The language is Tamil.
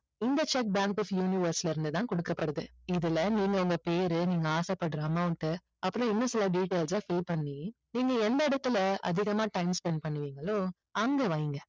இந்த cheque bank of universe ல இருந்து தான் கொடுக்கப்படுது இதுல நீங்க உங்க பேரு நீங்க ஆசைப்படுற amount அப்புறம் இன்னும் சில details அ fill பண்ணி நீங்க எந்த இடத்துல அதிகமா time spend பண்ணுவீங்களோ அங்க வைங்க